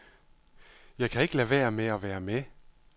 Jeg kan ikke lade være med at være med.